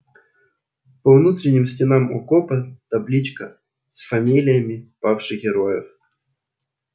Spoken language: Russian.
по внутренним стенам окопа таблички с фамилиями павших героев